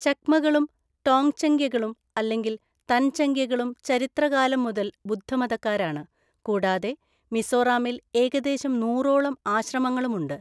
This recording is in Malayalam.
ചക്മകളും ടോങ്‌ചംഗ്യകളും അല്ലെങ്കിൽ തൻചംഗ്യകളും ചരിത്രകാലം മുതൽ ബുദ്ധമതക്കാരാണ്, കൂടാതെ മിസോറാമിൽ ഏകദേശം നൂറോളം ആശ്രമങ്ങളുമുണ്ട്.